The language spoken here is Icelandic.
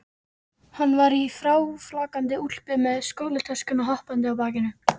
Hann var í fráflakandi úlpu með skólatöskuna hoppandi á bakinu.